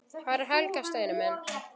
Hvar er Helga, Steini minn?